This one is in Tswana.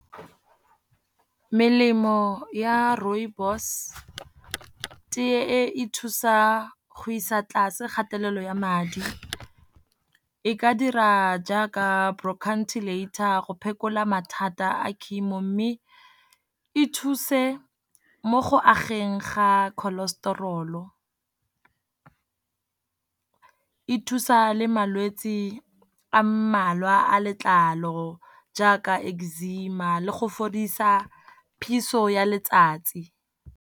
Melemo ya rooibos, teye e thusa go isa tlase kgatelelo ya madi. E ka dira jaaka bronchitilator go phekola mathata a chemo, mme e thuse mo go ageng ga cholesterol. E thusa le malwetse a mmalwa a letlalo jaaka eczema le go fodisa phiso ya letsatsi.